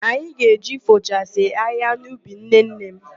Ạnyị ga-eje ifochasi ahịhịa n'ubi nnenne m.